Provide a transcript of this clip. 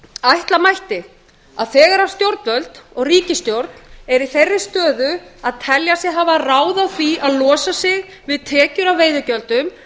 ætla mætti að þegar stjórnvöld og ríkisstjórn eru í þeirri stöðu að telja sig hafa ráð á því að losa sig við tekjur af veiðigjöldum